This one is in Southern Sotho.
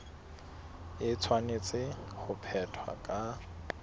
e tshwanetse ho phethwa ka